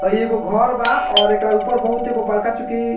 अ ई एगो घोर बा और एकरा ऊपर बहुत एगो बड़का चुकी --